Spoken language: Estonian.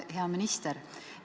Hea minister!